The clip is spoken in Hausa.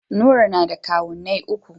Nura na da kawunni uku.